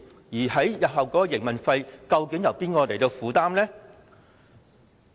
日後的營運開支，究竟由哪一方負擔？